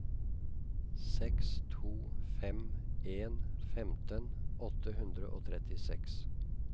seks to fem en femten åtte hundre og trettiseks